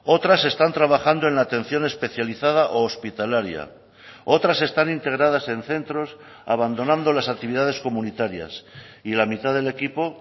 otras están trabajando en la atención especializada o hospitalaria otras están integradas en centros abandonando las actividades comunitarias y la mitad del equipo